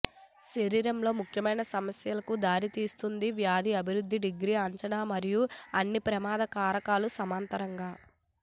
శరీరంలో ముఖ్యమైన సమస్యలకు దారితీస్తుంది వ్యాధి అభివృద్ధి డిగ్రీ అంచనా మరియు అన్ని ప్రమాద కారకాలు సమాంతరంగా